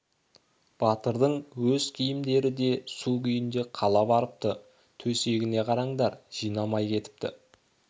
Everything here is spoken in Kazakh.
батырдың өз киімдері де су күйінде қала барыпты төсегіне қараңдар жинамай кетіпті